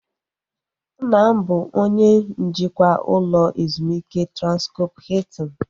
Nna m bụ onye njikwa ụlọ ezumike Transkọp Hiltin